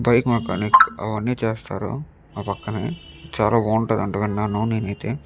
Bike mechanic అవన్నీ చేస్తారు. ఆ పక్కన చాలా బాగుంటుందండి నేనైతే విన్నాను.